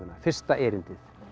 fyrsta erindið